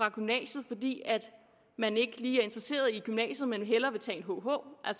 af gymnasiet fordi man ikke lige er interesseret i gymnasiet men hellere vil tage en hh der